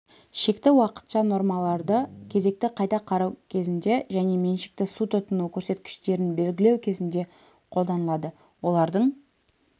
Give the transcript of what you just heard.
шекті уақытша нормаларды кезекті қайта қарау кезінде және меншікті су тұтыну көрсеткіштерін белгілеу кезінде қолданылады олардың